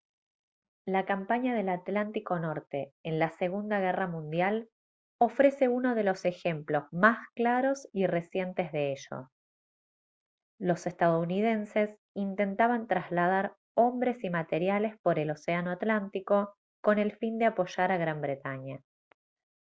la campaña del atlántico norte en la segunda guerra mundial ofrece uno de los ejemplos más claros y recientes de ello los estadounidenses intentaban trasladar hombres y materiales por el océano atlántico con el fin de apoyar a gran bretaña